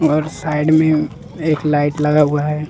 और साइड में एक लाइट लगा हुआ है।